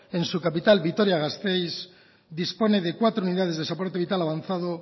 en su capital vitoria gasteiz dispone de cuatro unidades de soporte vital avanzado